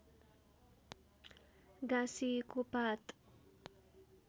गाँसिएको पात